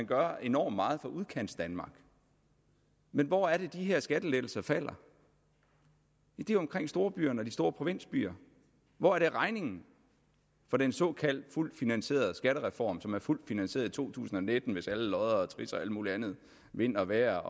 gør enormt meget for udkantsdanmark men hvor er det de her skattelettelser falder ja det er omkring storbyerne og de store provinsbyer hvor er det regningen for den såkaldt fuldt finansierede skattereform som er fuldt finansieret i to tusind og nitten hvis alle lodder og trisser og alt muligt andet vind og vejr